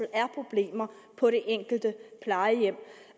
er problemer på det enkelte plejehjem